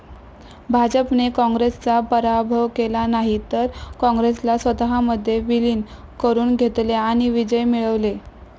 भाजपने काँग्रेसचा पराभव केला नाही, तर काँग्रेसला स्वतःमध्ये विलीन करून घेतले आणि विजय मिळविले.